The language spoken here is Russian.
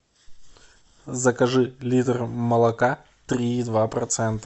закажи литр молока три и два процента